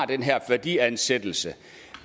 den her værdiansættelse